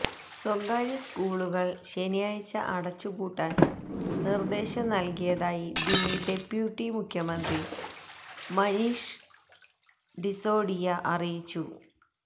സ്വകാര്യ സ്കൂളുകൾ ശനിയാഴ്ച അടച്ചുപൂട്ടാൻ നിർദ്ദേശം നൽകിയതായി ദില്ലി ഡെപ്യൂട്ടി മുഖ്യമന്ത്രി മനീഷ് സിസോഡിയ അറിയിച്ചു